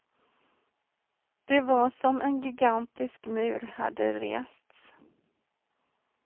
Det var som om en gigantisk mur hade rests.